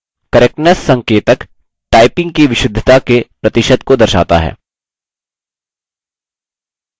correctness संकेतक typing की विशुद्धता के प्रतिशत को दर्शाता है